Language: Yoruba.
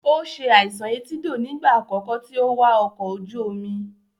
Ó se àìsàn etídò nígbà àkọ́kọ́ tí ó wà ọkọ̀ ojú omi.